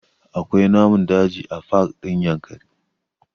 Akwai namun daji a pak ɗin Yankari